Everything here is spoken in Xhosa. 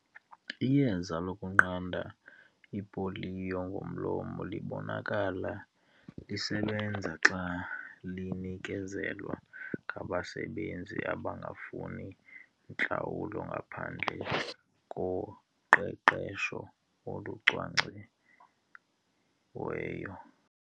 Iyeza lokunqanda ipoliyo ngomlomo libonakala lisebenza xa linikezelwa ngabasebenzi abangafuni ntlawulo ngaphandle koqeqesho olucwangciweyo.